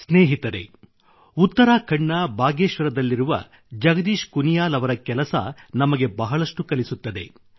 ಸ್ನೇಹಿತರೆ ಉತ್ತರಾಖಂಡ್ ನ ಬಾಗೇಶ್ವರ್ ದಲ್ಲಿರುವ ಜಗದೀಶ್ ಕುನಿಯಾಲ್ ಅವರ ಕೆಲಸ ನಮಗೆ ಬಹಳಷ್ಟು ಕಲಿಸುತ್ತದೆ